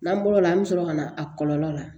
N'an bɔr'o la an bɛ sɔrɔ ka na a kɔlɔlɔ la